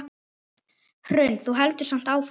Hrund: Þú heldur samt áfram?